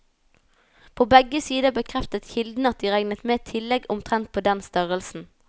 På begge sider bekreftet kilder at de regnet med tillegg omtrent på den størrelsen.